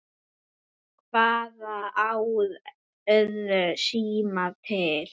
Hvaða ár urðu símar til?